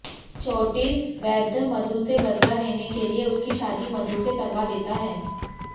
चोटिल वैद्य मधु से बदला लेने के लिए उसकी शादी मधु से करवा देता है